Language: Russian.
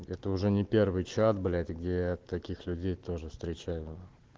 это уже не первый чат блять где я таких людей тоже встречаю